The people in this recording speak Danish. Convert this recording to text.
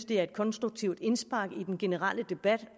det er et konstruktivt indspark i den generelle debat